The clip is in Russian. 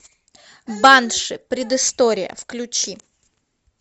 банши предыстория включи